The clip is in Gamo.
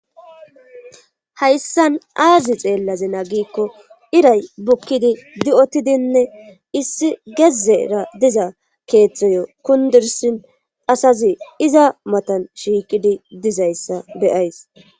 Hayssan aazi xeellaze naagikko iray bukkidi di7otidinne issi gezzera diza keeththoyo kundursin asazi iza matan shiikidi dizayssa beyays.